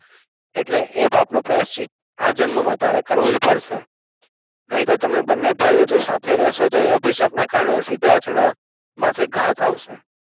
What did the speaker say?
એટલે એ પાપનું પ્રાયચિત આ જન્મ માં તારે કરવુજ પડશે નઇતો તમે બંને ભાઈઓ જો સાથે રહેસો એ અભિસપ્ન કર્ણ સિદ્ધાર્થના માથે ઘાત આવશે